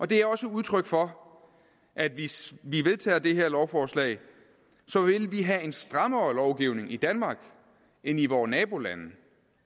det er også udtryk for at hvis vi vedtager det her lovforslag vil vi have en strammere lovgivning i danmark end i vore nabolande